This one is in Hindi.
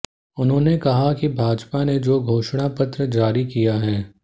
उन्होंने कहा कि भाजपा ने जो घोषणा पत्र जारी किया है